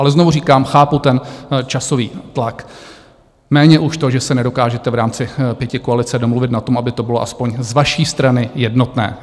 Ale znovu říkám, chápu ten časový tlak, méně už to, že se nedokážete v rámci pětikoalice domluvit na tom, aby to bylo aspoň z vaší strany jednotné.